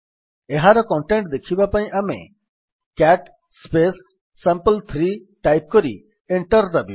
ଏହାର କଣ୍ଟେଣ୍ଟ୍ ଦେଖିବା ପାଇଁ ଆମେ ସିଏଟି ସାମ୍ପଲ୍3 ଟାଇପ୍ କରି ଏଣ୍ଟର୍ ଦାବିବା